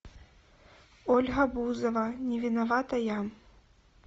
ольга бузова не виновата я